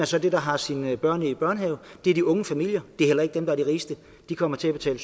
så der har sine børn i børnehave det er de unge familier det er heller ikke dem der er de rigeste de kommer til at betale